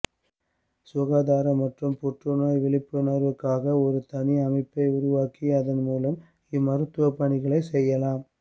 சுகாதாரம் மற்றும் புற்று நோய் விழிப்புணர்வுக்காக ஒரு தனி அமைப்பை உருவாக்கி அதன் மூலம் இம்மருத்துவ பணிகளை செய்யலாம்